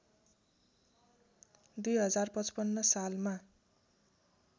२०५५ सालमा